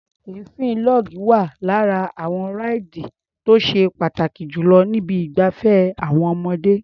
Èéfín log wá lára àwọn ráìdì tó ṣe pàtàkì jù lọ ní ibi ìgbafẹ́ àwọn ọmọdé.